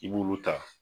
I b'olu ta